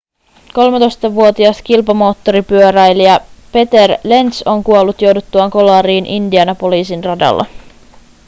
13-vuotias kilpamoottoripyöräilijä peter lenz on kuollut jouduttuaan kolariin indianapolisin radalla